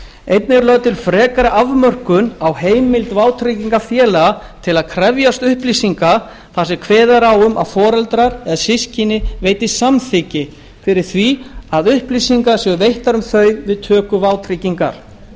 einnig er lögð til frekari afmörkun á heimild vátryggingafélaga til að krefjast upplýsinga þar sem kveðið er á um að foreldrar eða systkini veiti samþykki fyrir því að upplýsingar séu veittar um þau við töku vátryggingar